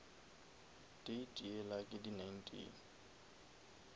date yela ke di nineteen